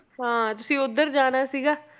ਤਾਂ ਤੁਸੀਂ ਉੱਧਰ ਜਾਣਾ ਸੀਗਾ